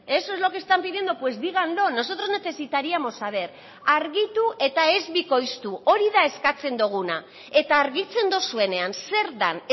eso es lo que están pidiendo pues díganlo nosotros necesitaríamos saber argitu eta ez bikoiztu hori da eskatzen duguna eta argitzen duzuenean zer den